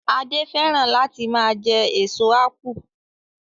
Adé fẹ́ràn láti máa jẹ èso ápù